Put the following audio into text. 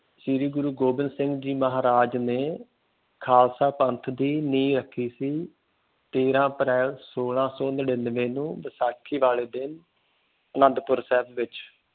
ਸ੍ਰੀ ਗੁਰੂ ਗੋਬਿੰਦ ਸਿੰਘ ਜੀ ਮਹਾਰਾਜ ਨੇ ਖਾਲਸਾ ਪੰਥ ਦੀ ਨੀਂਹ ਰੱਖੀ ਸੀ। ਤੇਰ੍ਹਾਂ ਅਪ੍ਰੈਲ ਸੋਲਾਂ ਸੌ ਨੜਿੰਨਵੇਂ ਨੂੰ ਵੈਸਾਖੀ ਵਾਲੇ ਦਿਨ ਅਨੰਦਪੁਰ ਸਾਹਿਬ ਵਿੱਚ